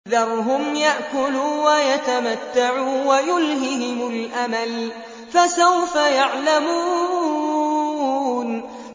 ذَرْهُمْ يَأْكُلُوا وَيَتَمَتَّعُوا وَيُلْهِهِمُ الْأَمَلُ ۖ فَسَوْفَ يَعْلَمُونَ